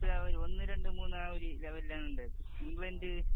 ഇപ്പം അവര് ഒന്ന്, രണ്ട്, മൂന്ന് ആ ലെവലില്‍ ആണുള്ളത്. ഇംഗ്ലണ്ട്,